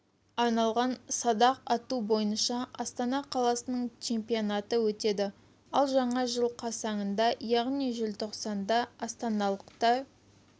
арналған садақ ату бойынша астана қаласының чемпионаты өтеді ал жаңа жыл қарсаңында яғни желтоқсанда астаналықтар